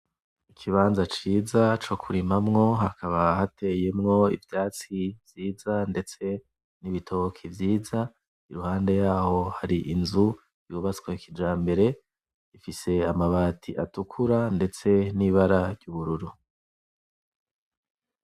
Ikibanza ciza co kurimamwo hakaba hateye ivyatsi vyiza ndetse n'ibitoke vyiza, iruhande yaho hari inzu yubatswe ya kijambere ifise amabati atukura ndetse n'ibara ry'ubururu.